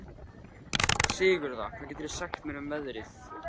Sigurða, hvað geturðu sagt mér um veðrið?